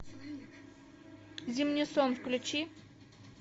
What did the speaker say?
зимний сон включи